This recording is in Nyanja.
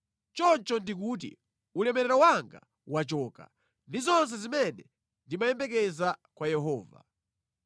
Choncho ndikuti, “Ulemerero wanga wachoka ndi zonse zimene ndimayembekeza kwa Yehova.”